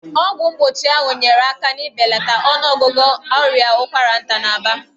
Ọgwụ mgbochi ahụ nyeere aka n'ibelata ọnụọgụgụ ọrịa ụkwara nta n'Aba.